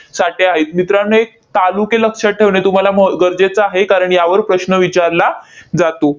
साठे आहेत. मित्रांनो, हे तालुके लक्षात ठेवणे तुम्हाला म गरजेचं आहे, कारण यावर प्रश्न विचारला जातो.